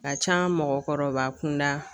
Ka can mɔgɔkɔrɔba kunda